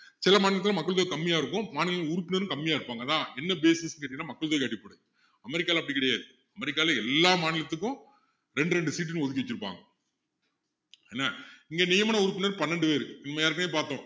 சில மாநிலத்தில மக்கள் தொகை கம்மியா இருக்கும் மாநிலங்களின் உறுப்பினர்களும் கம்மியாக இருப்பாங்க அதான் என்ன basis ன்னு கேட்டீங்கன்னா மக்கள் தொகை அடிப்படை அமெரிக்காவுல அப்படி கிடையாது அமெரிக்காவுல எல்லா மாநிலத்துக்கும் ரெண்டு ரெண்டு seat ன்னு ஒதுக்கி வச்சிருப்பாங்க என்ன இங்க நியமன உறுப்பினர் பன்னிரெண்டு பேரு நம்ம ஏற்கனவே பார்த்தோம்